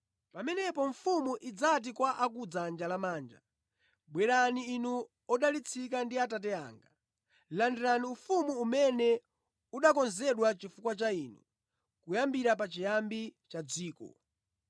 “Pamenepo mfumu idzati kwa a ku dzanja lamanja, ‘Bwerani inu odalitsika ndi Atate anga; landirani ufumu umene unakonzedwa chifukwa cha inu kuyambira pachiyambi cha dziko.